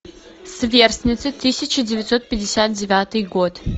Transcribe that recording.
сверстницы тысяча девятьсот пятьдесят девятый год